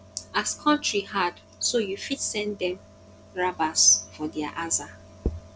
as kontry hard so yu fit send dem rabas for dia aza